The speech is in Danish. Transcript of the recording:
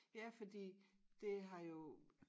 Ja fordi det har jo